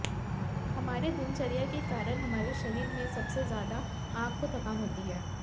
हमारे दिनचर्या के काऱण हमारे शरीर में से सबसे ज्यादा आंख को थकान होती है